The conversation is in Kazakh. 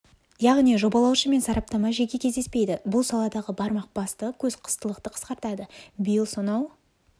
яғни жобалаушы мен сараптама жеке кездеспейді бұл саладағы бармақ басты көз қыстылықты қысқартады биыл сонау